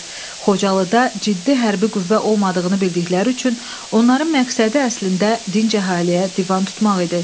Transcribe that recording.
Xocalıda ciddi hərbi qüvvə olmadığını bildikləri üçün onların məqsədi əslində dinc əhaliyə divan tutmaq idi.